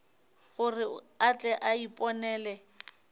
gore a tle a iponele